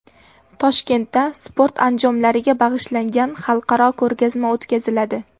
Toshkentda sport anjomlariga bag‘ishlangan xalqaro ko‘rgazma o‘tkaziladi.